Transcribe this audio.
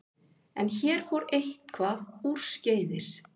En hér fór eitthvað úrskeiðis.